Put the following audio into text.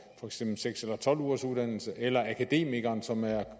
eksempel seks eller tolv ugers uddannelse eller at akademikeren som er